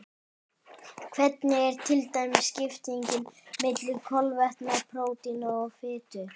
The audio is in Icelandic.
Hvernig er til dæmis skiptingin milli kolvetna, prótína og fitu?